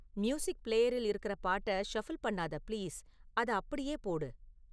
music ப்ளேயரில் இருக்குற பாட்ட ஷஃபில் பண்ணாத பிளீஸ், அத அப்படியே போடு